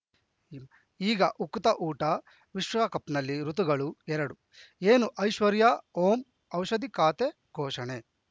ಈಗ ಉಕುತ ಊಟ ವಿಶ್ವಕಪ್‌ನಲ್ಲಿ ಋತುಗಳು ಎರಡು ಏನು ಐಶ್ವರ್ಯಾ ಓಂ ಔಷಧಿ ಖಾತೆ ಘೋಷಣೆ